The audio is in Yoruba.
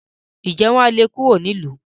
ǹjẹ́ wọn á le kúrò nílùú?